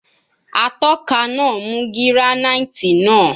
Atọka naa mu giranaiti naa